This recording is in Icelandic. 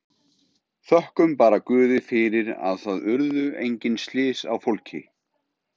Þökkum bara Guði fyrir að það urðu engin slys á fólki.